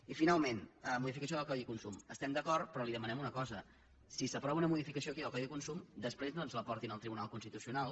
i finalment modificació del codi de consum hi estem d’acord però li demanem una cosa si s’aprova una modificació aquí del codi de consum després no ens la portin al tribunal constitucional